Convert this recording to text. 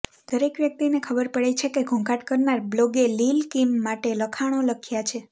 દરેક વ્યક્તિને ખબર પડે છે કે ઘોંઘાટ કરનાર બ્લોગે લિલ કીમ માટે લખાણો લખ્યા છે